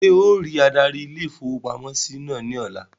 Ṣé ọ rí adarí ilé-ìfowópamọ́sí náà ní ọ̀la?